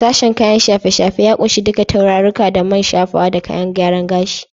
Sashen kayan shafe-shafe ya kunshi duka turarirruka da man shafawa da kayan gyaren gashi.